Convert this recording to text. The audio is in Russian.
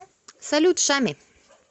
салют шами